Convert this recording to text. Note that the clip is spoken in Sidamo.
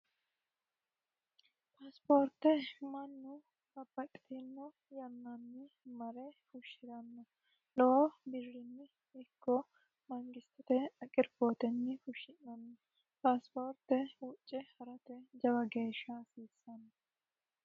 paasipoorte mannu babbaxitinno yannaanni mare fushshi'ranna lowo biririnni ikko mangistite aqirfootenyi fushshi'nanno paasipoorte huucce ha'rate jaba geeshsha hasiissanno